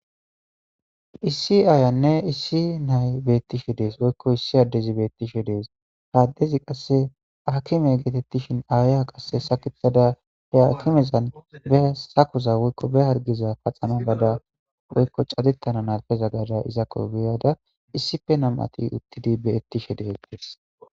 issi aayanne issi nay beettishe dees woykko issi addezi beettishe dees haaddezi qasse akime geetettishin aaya qasse sakitada he akimezan be sakoza woykko be hargiza paxama bada woykko cadettana n alfeza gada izakko biyada issife namati uttidi beettishe deedees